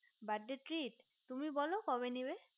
birthday treat তুমি বোলো কবে নেবে